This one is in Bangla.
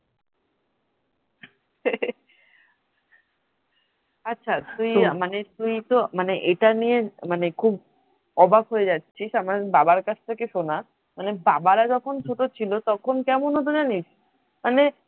আছা তুই তো এটা নিয়ে মানে খুব অবাক হয়ে যাচ্ছিস আমার বাবার কাছে শোনা মানে বাবা রা যখন ছোট ছিল তখন কেমন হতো জানিস?